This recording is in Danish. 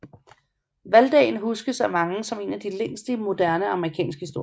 Valgdagen huskes af mange som en af de længste i moderne amerikansk historie